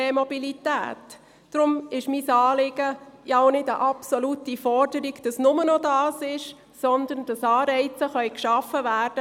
Deshalb ist mein Anliegen auch keine absolute Forderung, wonach es nur noch E-Mobilität geben soll, sondern es sollen Anreize zur Stützung geschaffen werden.